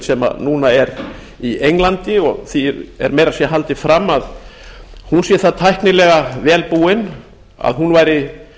sem núna er í englandi og því er meira að segja haldið fram að hún sé það tæknilega vel búin að hún væri